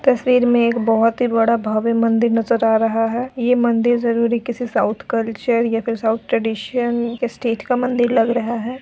तस्वीर में एक बहुत ही बड़ा भव्य मंदिर नजर आ रहा है यह मंदिर जरूर ही किसी साउथ कलर्चस या फिर साउथ ट्रे़डिसन स्टेट का मंदिर लग रहा है।